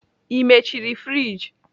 Ị mechiri friji?